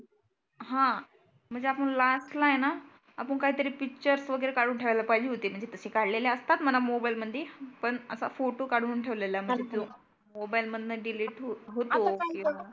हं म्हणजे आपण लास्टला आहे ना आपुन काही तरी पिक्चर्स वगैरे काढुन ठेवायला पाहीजे होते. तसे काढलेले असतात म्हणा मोबाइल मधी. पण असा फोटो काढुन ठेवलेला बघतो. मोबाइल मधनं डिलिट होतो.